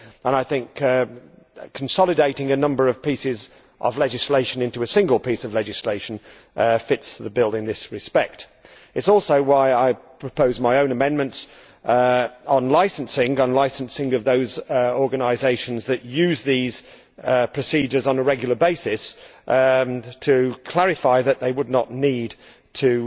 I think that consolidating a number of pieces of legislation into a single piece of legislation fits the bill in this respect. This is also why I proposed my own amendments on the licensing of those organisations that use these procedures on a regular basis, to ensure that they would not need to